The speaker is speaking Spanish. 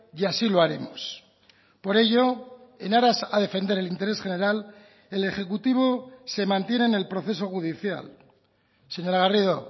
y así lo haremos por ello en aras a defender el interés general el ejecutivo se mantiene en el proceso judicial señora garrido